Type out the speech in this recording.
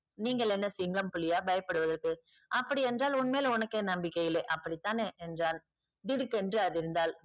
நீங்கள் என்ன சிங்கம் புலியா பயப்படுவதற்கு அப்படியென்றால் உன்மேல் உனக்கே நம்பிக்கை இல்லை அப்படித்தானே என்றான் திடுக்கென்று அதிர்ந்தாள்